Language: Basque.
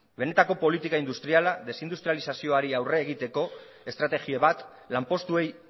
benetako politika industriala desindustralizazioari aurre egiteko estrategia bat lanpostuei